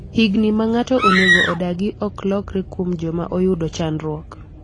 higni ma ng'ato onego odagi ok lokre kuom joma oyudo chandruok